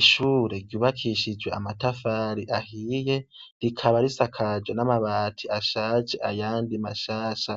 Ishure ryubakishijwe amatafari ahiye, rikaba risakaje n' amabati ashaje, ayandi mashasha.